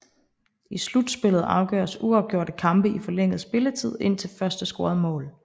I slutspillet afgøres uafgjorte kampe i forlænget spilletid indtil første scorede mål